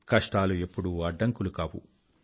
కష్టాలు ఎప్పుడూ అడ్డంకులు కావు